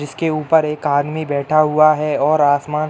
इसके ऊपर एक आदमी बैठा हुआ है और आसमान --